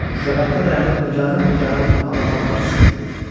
Şüşəbətdə dayanıb nigaran-nigaran ona baxan bacısına dedi.